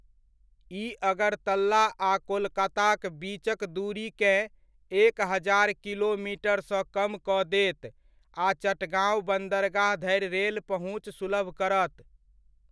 ई अगरतला आ कोलकाताक बीचक दूरीकेँ एक हजार किलोमीटर सँ कम कऽ देत आ चटगांव बन्दरगाह धरि रेल पहुँच सुलभ करत।